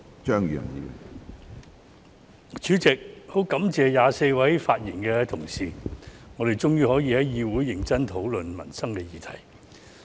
主席，我感謝24位發言的同事，我們終於可以在議會認真討論民生議題。